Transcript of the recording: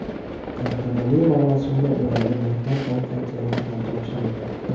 Tantanali marosimda ularga mehnat daftarchalari ham topshirildi.